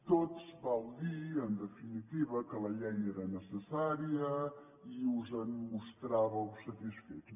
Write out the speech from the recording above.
tots vau dir en definitiva que la llei era necessària i us en mostràveu satisfets